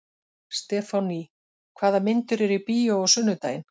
Stefánný, hvaða myndir eru í bíó á sunnudaginn?